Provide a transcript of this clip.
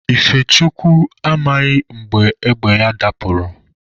Ifechukwu amaghị mgbe égbè ya dapụrụ.